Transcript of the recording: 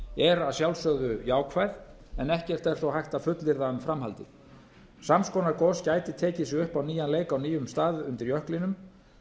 hraunflæði er að sjálfsögðu jákvæð en ekkert er þó hægt að fullyrða um framhaldið sams konar gos gæti tekið sig upp á nýjan leik á nýjum stað undir jöklinum